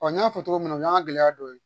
n y'a fɔ cogo min na o y'a gɛlɛya dɔ ye